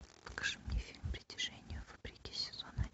покажи мне фильм притяжение вопреки сезон